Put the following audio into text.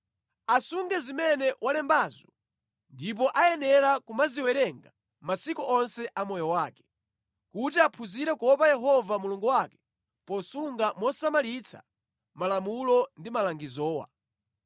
Asunge zimene walembazo ndipo ayenera kumaziwerenga masiku onse a moyo wake, kuti aphunzire kuopa Yehova Mulungu wake posunga mosamalitsa malamulo ndi malangizowa.